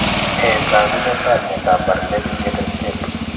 Nee taakunetaab myondap bardet biedl 10?